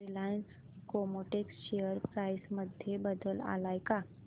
Reliance Chemotex share price मध्ये बदल आलाय का